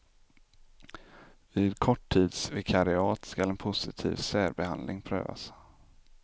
Vid korttidsvikariat skall en positiv särbehandling prövas.